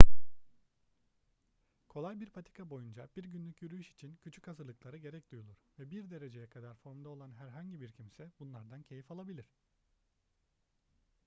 kolay bir patika boyunca bir günlük yürüyüş için küçük hazırlıklara gerek duyulur ve bir dereceye kadar formda olan herhangi bir kimse bunlardan keyif alabilir